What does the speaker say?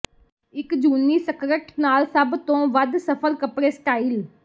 ਇੱਕ ਜੂਨੀ ਸਕਰਟ ਨਾਲ ਸਭ ਤੋਂ ਵੱਧ ਸਫ਼ਲ ਕੱਪੜੇ ਸਟਾਈਲ